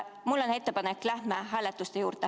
Mul on ettepanek, lähme hääletuste juurde.